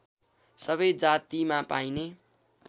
सबै जातिमा पाइने